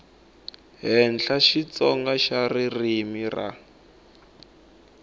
henhla xitsonga xa ririmi ra